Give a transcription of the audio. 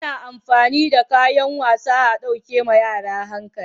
Ana amfani da kayan wasa a ɗauke wa yara hankali